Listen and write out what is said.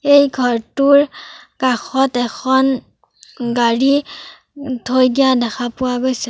এই ঘৰটোৰ কাষত এখন গাড়ী থৈ দিয়া দেখা পোৱা গৈছে।